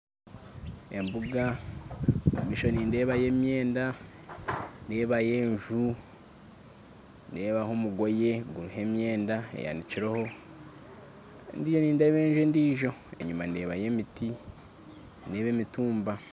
Embuga omu maisho nindeebamu emyenda ndeebayo enju ndeebanyo omugoyi guriho emyenda eyanikireho ndiyo nindeeba enju endiijo enyima nindeeba yo emiti nindeeba emitumba